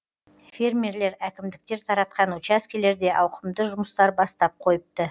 фермерлер әкімдіктер таратқан учаскелерде ауқымды жұмыстар бастап қойыпты